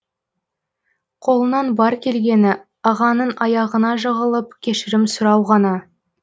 қолынан бар келгені ағаның аяғына жығылып кешірім сұрау ғана